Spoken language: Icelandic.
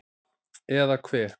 Eða hve